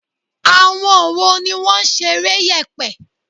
Àwọn wo ni wọ́n ṣeré yèpè?